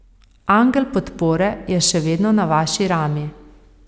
Angel podpore je še vedno na vaši rami.